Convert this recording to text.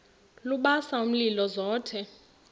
lubasa umlilo zothe